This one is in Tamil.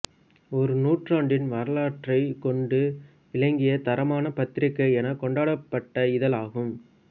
ஒரு நூற்றாண்டு வரலாற்றைக் கொண்டு விளங்கிய தரமான பத்திரிகை எனக் கொண்டாடப்பட்ட இதழ் ஆகும்